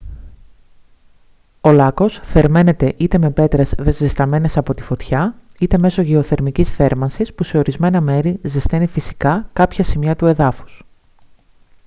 ο λάκκος θερμαίνεται είτε με πέτρες ζεσταμένες από τη φωτιά είτε μέσω γεωθερμικής θέρμανσης που σε ορισμένα μέρη ζεσταίνει φυσικά κάποια σημεία του εδάφους